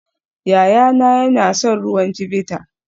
Yayana yana son ruwan Chivita